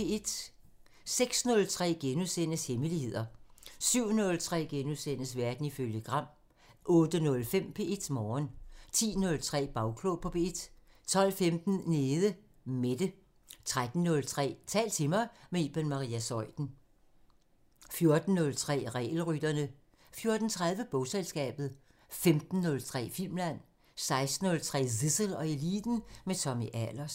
06:03: Hemmeligheder * 07:03: Verden ifølge Gram * 08:05: P1 Morgen 10:03: Bagklog på P1 12:15: Nede Mette 13:03: Tal til mig – med Iben Maria Zeuthen 14:03: Regelrytterne 14:30: Bogselskabet 15:03: Filmland 16:03: Zissel og Eliten: Med Tommy Ahlers